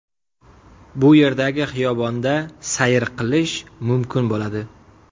Bu yerdagi xiyobonda sayr qilish mumkin bo‘ladi.